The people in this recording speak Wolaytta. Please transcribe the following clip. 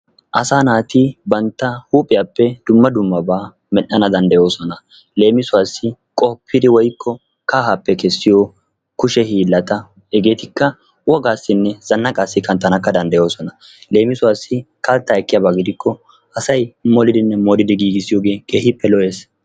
Asaa naati bantta huuphiyappe dumma dummabaa medhdhana danddayoosona leemisuwassi qoppidi woykko kahaappe kessiyo kushe hiillata hegeetikka wogaassinne zannaqaassi kattanakka danddayoosona leemisuwassi kattaa ekkiyaba gidikko asayi molidinne molidi keehippe lo"ees.